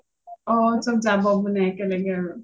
চব যাব বুলি মানে একেলগে আৰু